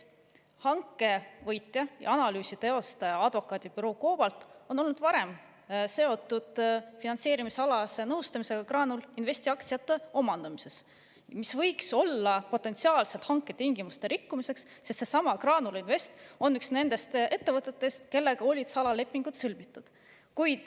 Hanke võitja ja analüüsi teostaja, advokaadibüroo COBALT, on olnud varem seotud finantseerimisalase nõustamisega Graanul Investi aktsiate omandamisel, mis võiks olla potentsiaalselt hanketingimuste rikkumine, sest seesama Graanul Invest on üks nendest ettevõtetest, kellega olid salalepingud sõlmitud.